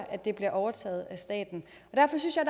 at det bliver overtaget af staten derfor synes jeg